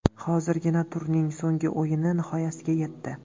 Hozirgina turning so‘nggi o‘yini nihoyasiga yetdi.